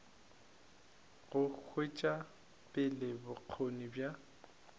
go tšwetša pele bokgoni bja